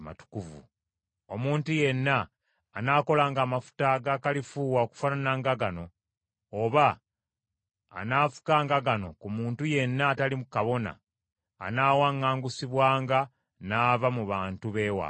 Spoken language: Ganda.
Omuntu yenna anaakolanga amafuta ga kalifuuwa okufaanana ne gano, oba anaafukanga gano ku muntu yenna atali kabona, anaawaŋŋangusibwanga, n’ava mu bantu b’ewaabwe.’ ”